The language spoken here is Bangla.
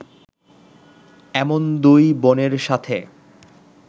এমন দুই বোনের সাথে